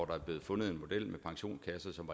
der er blevet fundet en model med pensionskasser som var